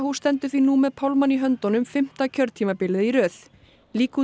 stendur því nú með pálmann í höndunum fimmta kjörtímabilið í röð